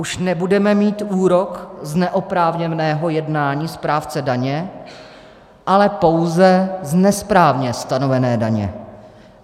Už nebudeme mít úrok z neoprávněného jednání správce daně, ale pouze z nesprávně stanovené daně.